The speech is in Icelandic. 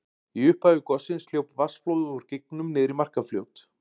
Í upphafi gossins hljóp vatnsflóð úr gígnum niður í Markarfljót.